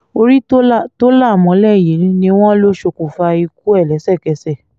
orí tó là tó là mọ́lẹ̀ yìí ni wọ́n lọ ṣokùnfà ikú ẹ̀ lẹ́sẹ̀kẹsẹ̀